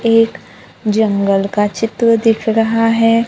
एक जंगल का चित्र दिख रहा है।